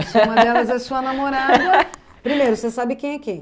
Se uma delas é sua namorada... Primeiro, você sabe quem é quem?